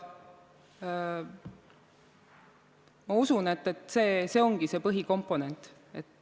Ma usun, et see ongi see põhikomponent.